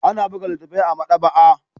Ana buga littattafai a maɗaba'a